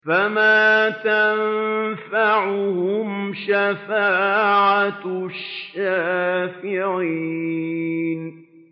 فَمَا تَنفَعُهُمْ شَفَاعَةُ الشَّافِعِينَ